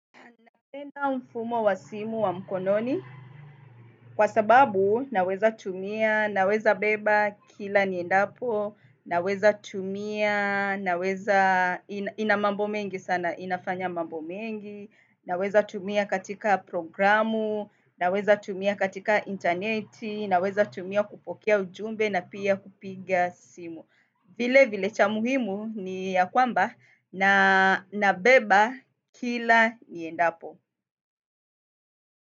Napenda mfumo wa simu wa mkononi kwa sababu naweza tumia, naweza beba kila niendapo, naweza tumia, ina mambo mengi sana, inafanya mambo mengi, naweza tumia katika programu, naweza tumia katika interneti, naweza tumia kupokea ujumbe na pia kupiga simu. Vile vile cha muhimu ni ya kwamba na nabeba kila niendapo.